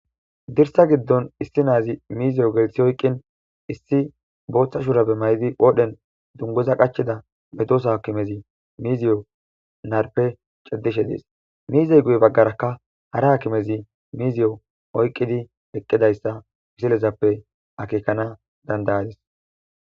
dirssa giddon issi na7azi mizziyo gelissi oyqqin issi booththa shurabe mayidi qoodhen dunguza qachida medosa hakimezi miziyo narpe ciddishe des. miizey guye baggarakka hara hakimezi miiziyo oyqqidi eqqidayssa misilezappe akeekkana dandayadis.